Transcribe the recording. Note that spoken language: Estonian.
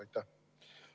Aitäh!